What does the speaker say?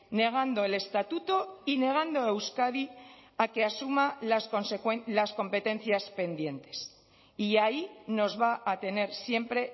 negando el estatuto y negando a euskadi a que asuma las competencias pendientes y ahí nos va a tener siempre